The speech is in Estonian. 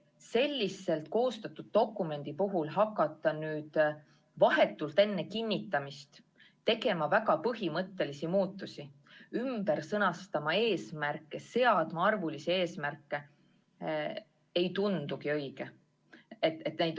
Selliselt koostatud dokumendi puhul hakata nüüd vahetult enne kinnitamist tegema väga põhimõttelisi muudatusi, sõnastama ümber eesmärke, seadma arvulisi eesmärke, ei tundu õige.